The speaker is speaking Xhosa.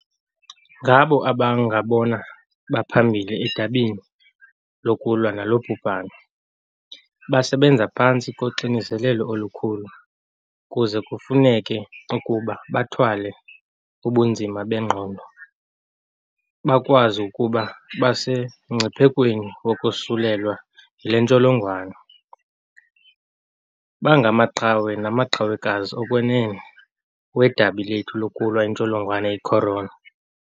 Ngabo abangabona baphambili edabini lokulwa nalo bhubhane. Basebenza phantsi koxinizelelo olukhulu kuze kufuneke ukuba bathwale ubunzima bengqondo bokwazi ukuba basemngciphekweni wokosulelwa yile ntsholongwane. Bangamaqhawe namaqhawekazi okwenene wedabi lethu lokulwa intsholongwane i-corona .